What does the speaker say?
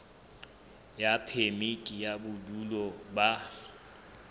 ya phemiti ya bodulo ba